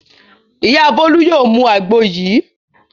Ìyá Bólú yóò mu àgbo yìí.